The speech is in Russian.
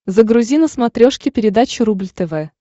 загрузи на смотрешке передачу рубль тв